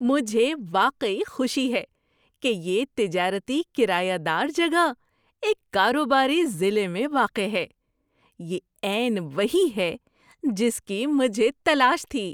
مجھے واقعی خوشی ہے کہ یہ تجارتی کرایہ دار جگہ ایک کاروباری ضلع میں واقع ہے۔ یہ عین وہی ہے جس کی مجھے تلاش تھی۔